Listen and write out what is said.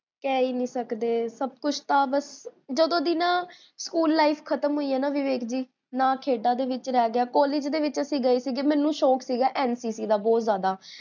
ਕਹ ਹੀ ਨੀ ਸਕਦੇ ਸਭ ਕੁਛ ਤਾਂ ਬੱਸ ਜਦੋ ਦੀ ਨਾ ਸਕੂਲ life ਖ਼ਤਮਹੋਈ ਹੈ ਨਾ ਵਿਵੇਕ ਜੀ, ਨਾ ਖੇਡਾਂ ਦੇ ਵਿੱਚ ਰਹ ਗਿਆ college ਦੇ ਵਿੱਚ ਅਸੀ ਗਏ ਸੀਗੇ, ਮੈਨੂ ਸ਼ੋਂਕ ਸੀਗਾ NCC ਦਾ ਬੋਹੋਤ ਜਾਦਾ